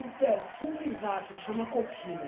O perfume exato chama coquilo.